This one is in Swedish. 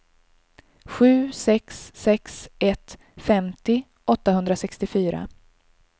sju sex sex ett femtio åttahundrasextiofyra